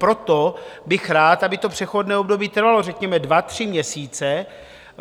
Proto bych rád, aby to přechodné období trvalo řekněme dva, tři měsíce.